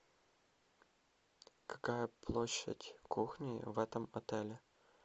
какая площадь кухни в этом отеле